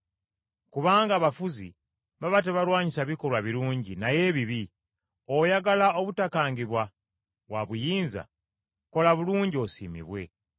Kubanga abafuzi baba tebalwanyisa bikolwa birungi naye ebibi. Oyagala obutakangibwa wa buyinza, kola bulungi osiimibwe,